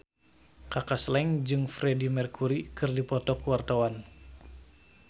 Kaka Slank jeung Freedie Mercury keur dipoto ku wartawan